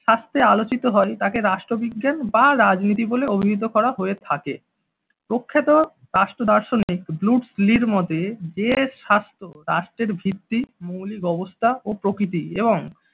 হাসতে আলোচিত হয় তাকে রাষ্ট্রবিজ্ঞান বা রাজনীতি বলে অভিহিত করা হয়ে থাকে। প্রখ্যাত রাষ্ট্র দার্শনিক ব্লুস্ট লির মতে যে স্বাস্থ্য রাষ্ট্রের ভিত্তি মৌলিক অবস্থা ও প্রকৃতি এবং